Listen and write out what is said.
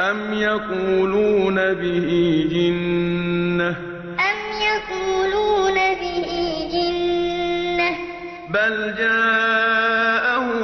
أَمْ يَقُولُونَ بِهِ جِنَّةٌ ۚ بَلْ جَاءَهُم